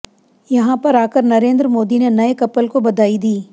यहां पर आकर नरेंद्र मोदी ने नए कपल को बधाई दी